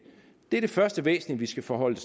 det er det første væsentlige vi skal forholde